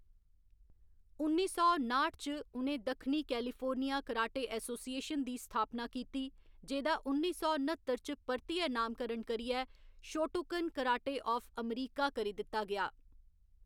उन्नी सौ नाठ च, उ'नें दक्षिणी कैलिफोर्निया कराटे एसोसिएशन दी स्थापना कीती, जेह्‌दा उन्नी सौ न्ह्‌त्तर च परतियै नामकरण करियै शोटोकन कराटे आफ अमेरिका करी दित्ता गेआ।